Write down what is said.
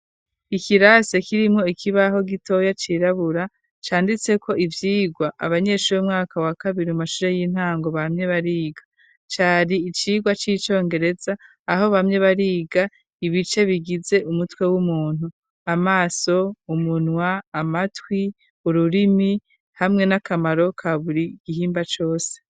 Ikirase kirimwo ikibaho gitoya cirabura canditse ko ivyirwa abanyeshure umwaka wa kabiri mu mashure y'intango bamye bariga cari icirwa c'icongereza aho bamye bariga ibice bigize umutwe w'umuntu amaso, umunwa, amatwi, ururimi, hamwe n'akamaro ka buri gihimba cose.